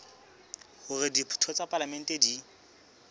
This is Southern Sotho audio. hore ditho tsa palamente di